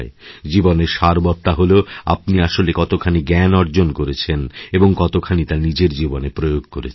জীবনের সারবত্তা হল আপনি আসলে কতখানি জ্ঞান অর্জন করেছেন এবংকতখানি তা নিজের জীবনে প্রয়োগ করেছেন